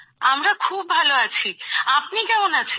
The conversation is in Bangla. আমরা খুব ভালো আছি আপনি কেমন আছেন